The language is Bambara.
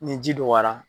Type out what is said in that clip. Ni ji dɔgɔyara